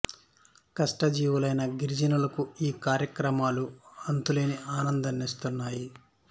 కష్ట జీవు లైన గిరిజనులకు ఈ కార్యక్రమాలు అంతు లేని ఆనందానిస్తాయి